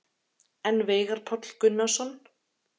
En Veigar Páll Gunnarsson?